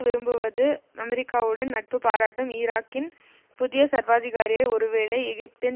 விரும்புவது அமெரிக்காவுடன் நட்பு பாராட்டும் ஈராக்கின் புதிய சர்வாதிகாரியை ஒருவேளை எகிப்தின்